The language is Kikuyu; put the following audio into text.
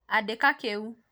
andĩka kĩu